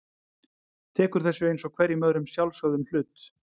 Tekur þessu einsog hverjum öðrum sjálfsögðum hlut.